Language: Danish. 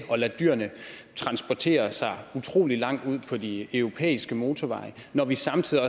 at lade dyrene transportere utrolig langt på de europæiske motorveje når vi samtidig